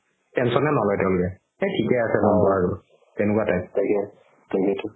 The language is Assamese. tension য়ে নলয় তেওলোকে এ থিকে আছে বাৰু তেনেকুৱা type